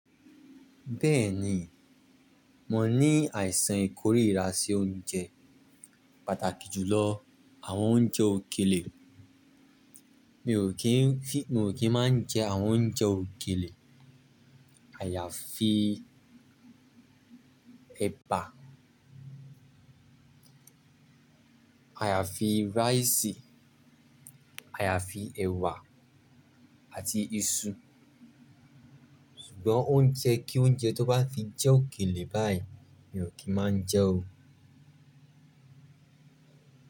Bẹ́ẹ̀ni, mo ní àìsàn ìkórìíra sí oúnjẹ pàtàkì jù lọ àwọn oúnjẹ òkèlè. Mi ò kí ń fi, mi ò kí máa ń jẹ àwọn oúnjẹ òkèlè. Àyàfi ẹba, àyàfi rice, àyàfi ẹ̀wà àti iṣu. Ṣùgbọ́n oúnjẹ kí oúnjẹ tó bá ti jẹ́ òkèlè báyìí mi ò kí máa jẹ́ o.